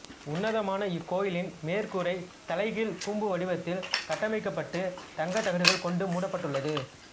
உன்னதமான இக்கோயிலின் மேற்கூரை தலைகீழ் கூம்பு வடிவத்தில் கட்டமைக்கப்பட்டு தங்கத் தகடுகள் கொண்டு மூடப்பட்டுள்ளது